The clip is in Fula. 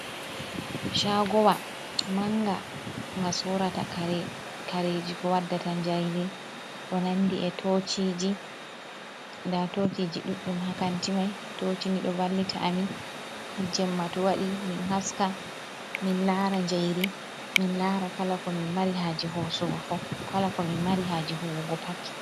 Shagowa manga nga sorata kareji ko waddata njairi, ko nandi e da tociji ɗuɗɗum hakanti mai, toci nido vallita amin ha jemma to wadi min haska min lara jairi min lara kala ko min mari haje hosugo fu kala ko min mari haji huwugo pat.